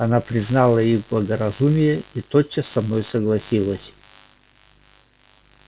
она признала их благоразумие и тотчас со мною согласилась